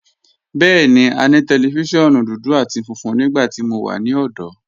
Bẹẹni, à ní tẹlifíṣiọ̀nù dúdú àti fúnfún nígbàtí mó wà ní ọ̀dọ̀.